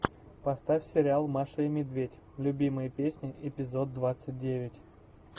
поставь сериал маша и медведь любимые песни эпизод двадцать девять